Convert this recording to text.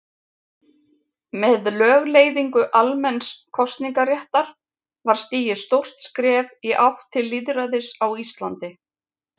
Með lögleiðingu almenns kosningaréttar var stigið stórt skref í átt til lýðræðis á Íslandi.